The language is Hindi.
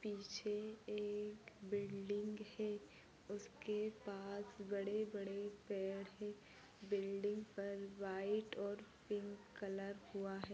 पीछे एक बिल्डिंग है उसके पास बड़े बड़े पेड है बिल्डिंग पर व्हाइट और पिंक कलर हुवा है।